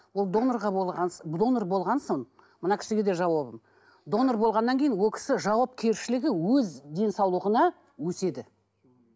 ол донорға донор болған соң мына кісіге де жауабым донор болғаннан кейін ол кісі жауапкершілігі өз денсаулығына өседі